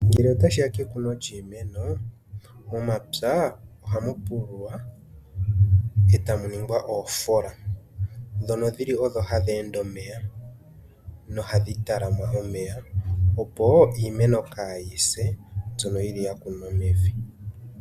Ngele otashi ya kekuno lyiimeno momapya ohamu pululwa, etamu ningwa oofola ndhono dhili odho hadhi ende omeya nohadhi talama omeya, opo iimeno kayi se, mbyono yili ya kunwa mevi.